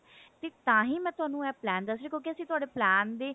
ਤਾਹੀ ਮੈਂ ਤੁਹਾਨੂੰ ਇਹ plan ਦੱਸ ਰਹੀ ਲਿਉਂਕੀ ਅਸੀਂ ਤੁਹਾਡੇ plan ਦੇ